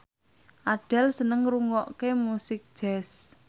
Adele seneng ngrungokne musik jazz